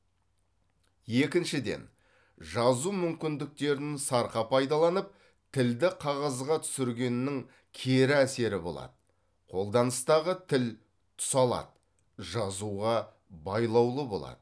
екіншіден жазу мүмкіндіктерін сарқа пайдаланып тілді қағазға түсіргеннің кері әсері болады қолданыстағы тіл тұсалады жазуға байлаулы болады